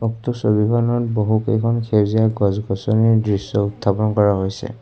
উক্ত ছবিখনত বহুকেইখন সেউজীয়া গছ গছনিৰ দৃশ্য উত্থাপন কৰা হৈছে।